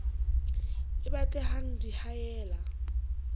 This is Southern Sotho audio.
e batle hang di haella